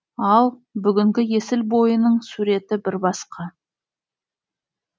ал бүгінгі есіл бойының суреті бір басқа